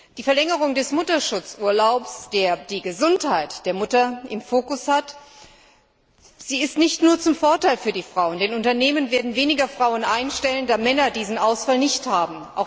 Die Verlängerung des Mutterschutzurlaubs, der die Gesundheit der Mutter im Fokus hat, sie ist nicht nur zum Vorteil für die Frauen, denn Unternehmen werden weniger Frauen einstellen, da Männer diesen Ausfall nicht haben.